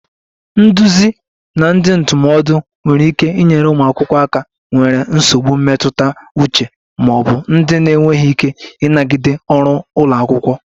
Nduzi na ndị ndụmọdụ nwere ike inyere ụmụ akwụkwọ aka nwere nsogbu mmetụta uche ma ọ bụ ndị na-enweghị ike ịnagide ọrụ ụlọ akwụkwọ